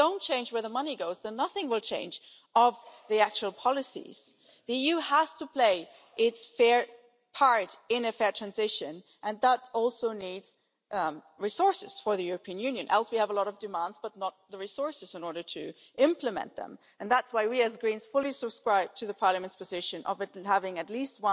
If we don't change where the money goes, then nothing will change in terms of the actual policies. The EU has to play its fair part in a fair transition and that also needs resources for the European Union. Otherwise we have a lot of demands but not the resources to implement them. And that's why we, the Greens, fully subscribe to the Parliament's position of having at